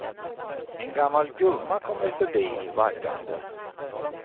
En gammal gumma kommer förbi, vaggande.